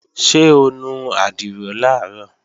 Ṣé o nu àdìrò làárọ̀?